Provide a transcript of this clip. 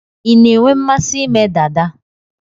Ị na-enwe mmasị ime dada?